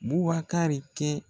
Bubakari kɛ